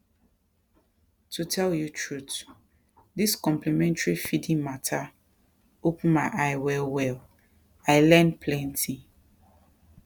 to tell you truth this complementary feeding matter open my eye wellwell i learn plenty